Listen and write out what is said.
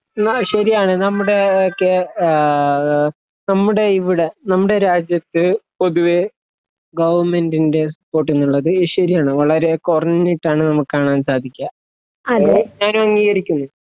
ആ ശരിയാണ് നമ്മുടെ കെ ആ നമ്മുടെ ഇവ്ടെ നമ്മുടെ രാജ്യത്ത് പൊതുവെ ഗൗവ്മെന്റിന്റെ സപ്പോർട്ട് ന്ന്ള്ളത് ശരിയാണ് വളരെ കൊറഞ്ഞിട്ടാണ് നമ്മക്ക് കാണാൻ സാധിക്കാ അത് ഞാൻ അംഗീകരിക്കുന്നു